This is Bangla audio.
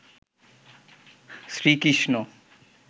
শ্রী কৃষ্ণ